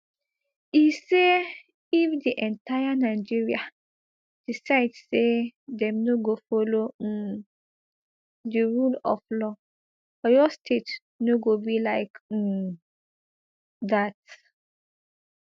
e say if di entire nigeria decide say dem no go follow um di rule of law oyo state no go be like um dat